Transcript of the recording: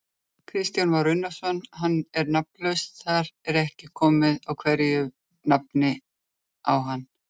Kristján Már Unnarsson: Hann er nafnlaus, þar ekki að koma einhverju nafni á hann?